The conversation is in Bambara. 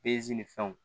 ni fɛnw